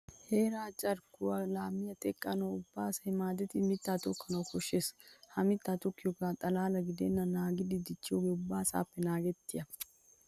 Heeraa carkkuwa laamiya teqqanawu ubba asay maadettidi mittaa tokkanawu koshshees. Ha mittaa tokkiyogaa xalaala gidennan naagidi dichchiyogee ubba asaappe naagettiyaba.